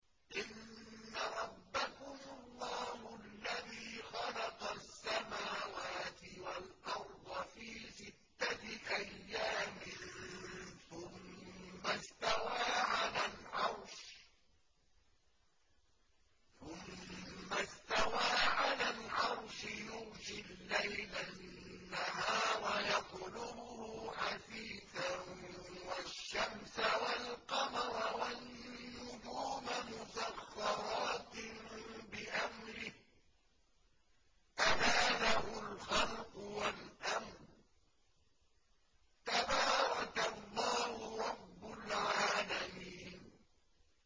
إِنَّ رَبَّكُمُ اللَّهُ الَّذِي خَلَقَ السَّمَاوَاتِ وَالْأَرْضَ فِي سِتَّةِ أَيَّامٍ ثُمَّ اسْتَوَىٰ عَلَى الْعَرْشِ يُغْشِي اللَّيْلَ النَّهَارَ يَطْلُبُهُ حَثِيثًا وَالشَّمْسَ وَالْقَمَرَ وَالنُّجُومَ مُسَخَّرَاتٍ بِأَمْرِهِ ۗ أَلَا لَهُ الْخَلْقُ وَالْأَمْرُ ۗ تَبَارَكَ اللَّهُ رَبُّ الْعَالَمِينَ